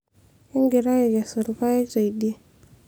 kingira aikesu ilpayek teidie